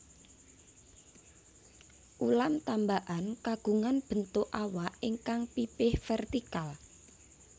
Ulam tambakan kagungan bentuk awak ingkang pipih vertikal